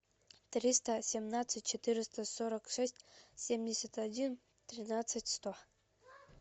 триста семнадцать четыреста сорок шесть семьдесят один тринадцать сто